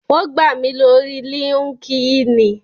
Wón gbà mí lórii líńki-inì